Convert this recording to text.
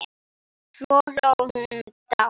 Svo hló hún dátt.